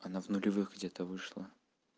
она в нулевых где-то вышла